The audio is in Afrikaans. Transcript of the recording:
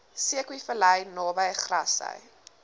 zeekoevlei naby grassy